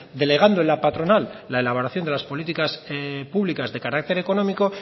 delegando en la patronal la elaboración de las políticas públicas de carácter económico